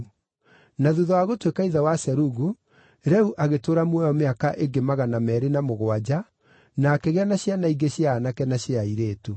Na thuutha wa gũtuĩka ithe wa Serugu, Reu agĩtũũra muoyo mĩaka ĩngĩ magana meerĩ na mũgwanja na akĩgĩa na ciana ingĩ cia aanake na cia airĩtu.